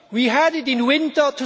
We had it in winter